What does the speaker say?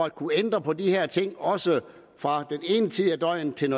at kunne ændre på de her ting også fra den ene tid af døgnet til